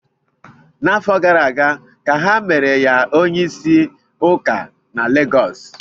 N'afọ gara ka ha mere ya onye isi ndị ụka na Lagos